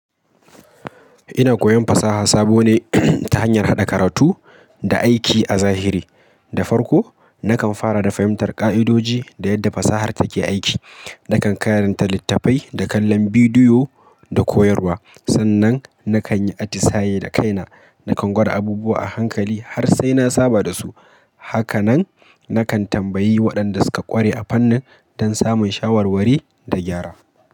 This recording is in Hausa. Ina koyon fasaha sabo ne ta hanyar haɗa karatu da aiki a zahiri. Da farko, nakan fara da fahimtar ƙa'idoji, da yadda fasahar take aiki. Nakan karanta littattafai da kallon bidiyo da koyarwa. Sannan nakan yi atisaye da kaina, nakan gwada abubuwa a hankali har sai na saba da su. Hakanan nakan tambayi waɗanda suka ƙware a fannin don samun shawarwari da gyara.